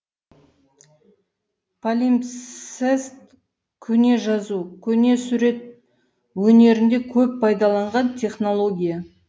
палимпсест көне жазу көне сурет өнерінде көп пайдаланған технология